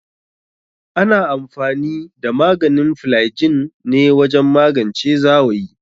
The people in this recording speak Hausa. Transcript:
Ana amfani da maganin flygin ne wajen magance zawayi.